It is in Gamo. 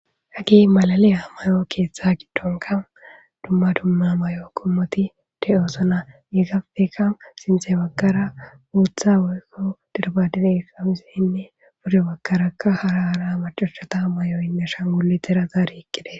Hage malaliya mayo keeththa giddonkka dumma dumma mayo qommothi de7oosona; heegapeka sinththe baggara booththa woykko dirbadire qamiseenne bude baggakarakka hara hara macashatha mayoynne ashangulithera zaari eqqi des.